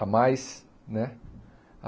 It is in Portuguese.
a mais, né?